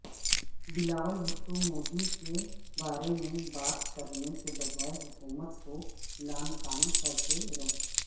بلاول بھٹو مودی کے بارے میں بات کرنے کے بجائےحکومت کو لعن طعن کرتے رہے